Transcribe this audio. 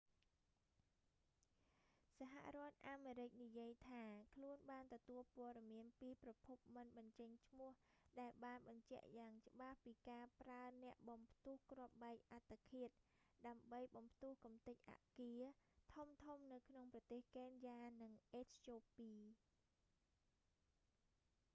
សហរដ្ឋអាមរិកនិយាយថា ខ្លួនបានទទួលព័ត៌មានពីប្រភពមិនបញ្ចេញឈ្មោះដែលបានបញ្ជាក់យ៉ាងច្បាស់ពីការប្រើអ្នកបំផ្ទុះគ្រាប់បែកអត្តឃាត ដើម្បីបំផ្ទុះកម្ទេចអគារធំៗនៅក្នុងប្រទេសកេនយ៉ា និងអេត្យូពី